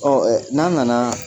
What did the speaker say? Ɔ ɛ n'an nana